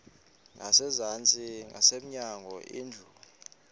ngasezantsi ngasemnyango indlu